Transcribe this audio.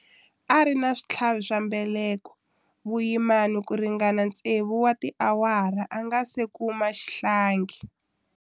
A ri na switlhavi swa mbeleko vuyimani ku ringana tsevu wa tiawara a nga si kuma xihlangi.